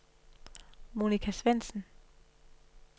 Monica Svendsen